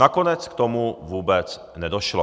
Nakonec k tomu vůbec nedošlo.